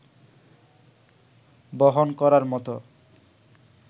বহন করার মতো